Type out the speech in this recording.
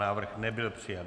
Návrh nebyl přijat.